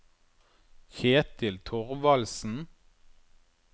Kjetil Thorvaldsen